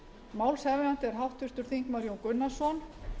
málshefjandi er háttvirtur þingmaður jón gunnarsson